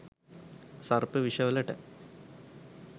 සර්ප විෂ වලට